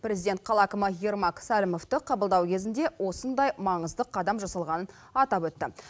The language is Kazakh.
президент қала әкімі ермак сәрімовті қабылдау кезінде осындай маңызды қадам жасалғанын атап өтті